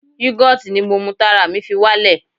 Yugoti ni mo mu tára mi fi wá lè.